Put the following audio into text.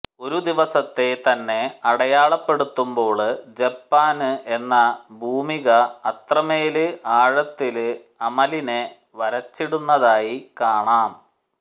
ഒരു ദിവസത്തെ തന്നെ അടയാളപ്പെടുത്തുമ്പോള് ജപ്പാന് എന്ന ഭൂമിക അത്രമേല് ആഴത്തില് അമലിനെ വരച്ചിടുന്നതായി കാണാം